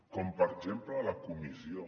com per exemple la comissió